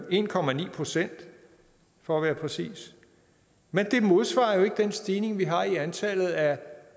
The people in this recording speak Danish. procent for at være præcis men det modsvarer jo ikke den stigning vi har i antallet af